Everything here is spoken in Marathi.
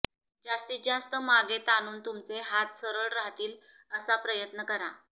जास्तीतजास्त मागे ताणून तुमचे हात सरळ राहतील असा प्रयत्न करा